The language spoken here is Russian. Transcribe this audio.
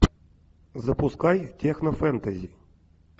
запускай технофэнтези